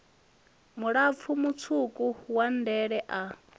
mulapfu mutswuku wa ndele a